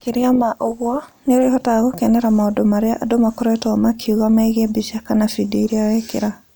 Makĩria ma ũguo, nĩ ũrĩhotaga gũkenera maũndũ marĩa andũ makoretwo makiuga megiĩ mbica kana bindiũ iria wekĩra.